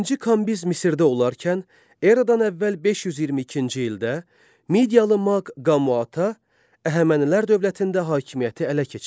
İkinci Kambiz Misirdə olarkən, Eradan əvvəl 522-ci ildə Midiya maq Qaumata, Əhəmənilər dövlətində hakimiyyəti ələ keçirdi.